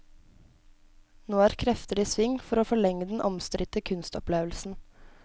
Nå er krefter i sving for å forlenge den omstridte kunstopplevelsen.